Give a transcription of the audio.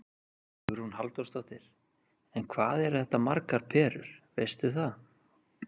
Hugrún Halldórsdóttir: En hvað eru þetta margar perur, veistu það?